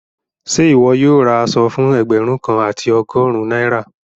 Ṣẹ iwọ yóò rá àṣọ̀ fún ẹgbérùn kan àti ọgọ́rìn Naira?